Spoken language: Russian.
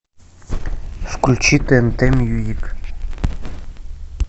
включи тнт мьюзик